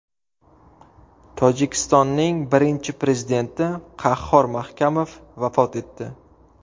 Tojikistonning birinchi prezidenti Qahhor Mahkamov vafot etdi.